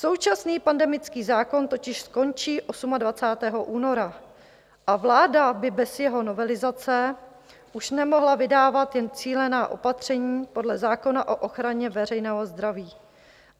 Současný pandemický zákon totiž končí 28. února a vláda by bez jeho novelizace už nemohla vydávat jen cílená opatření podle zákona o ochraně veřejného zdraví.